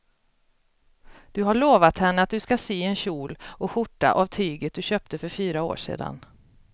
Du har lovat henne att du ska sy en kjol och skjorta av tyget du köpte för fyra år sedan.